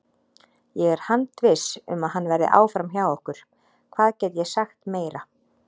Ég er handviss um að hann verði áfram hjá okkur, hvað get ég sagt meira?